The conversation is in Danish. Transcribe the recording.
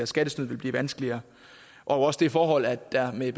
skattesnyd vil blive vanskeligere også det forhold at der med